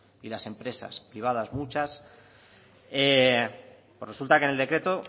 y las empresas privadas muchas pues resulta que en el decreto